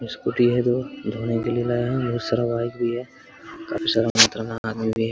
Scooty है दो धोने के लिए लाया हूँ बोहत सारा बाइक भी है काफी सारा मात्रा में आदमी भी है।